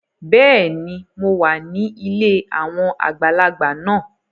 Bẹẹni, Mó wà ní ilé awọn àgbàlagbà náà